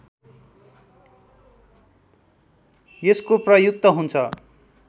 यसको प्रयुक्त हुन्छ